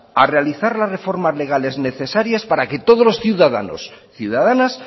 a realizar las reformas legales necesarias para que todos los ciudadanos y ciudadanas